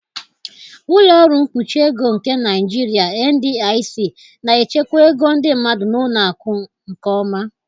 Ụlọ ọrụ mkpuchi ego nke Naijiria (NDIC) na-echekwa ego ndị mmadụ na ụlọ akụ nke ọma.